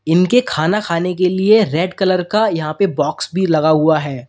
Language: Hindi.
इनके खाना खाने के लिए रेड कलर का यहां पे बॉक्स भी लगा हुआ है।